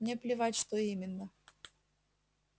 мне плевать что именно